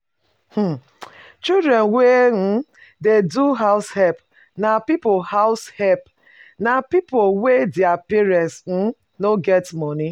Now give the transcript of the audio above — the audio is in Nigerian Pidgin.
um Children wey um dey do househelp na pipo househelp na pipo wey their parents um no get money